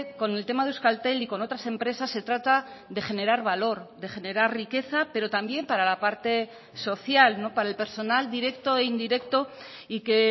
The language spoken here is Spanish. con el tema de euskaltel y con otras empresas se trata de generar valor de generar riqueza pero también para la parte social para el personal directo e indirecto y que